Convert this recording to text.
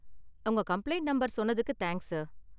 உங்க கம்ப்ளைண்ட் நம்பர சொன்னதுக்கு தேங்க்ஸ் சார்.